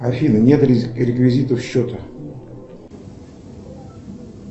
афина нет реквизитов счета